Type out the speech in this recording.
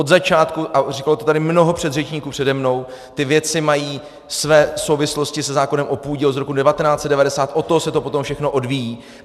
Od začátku, a říkalo to tady mnoho předřečníků přede mnou, ty věci mají své souvislosti se zákonem o půdě z roku 1990, od toho se to potom všechno odvíjí.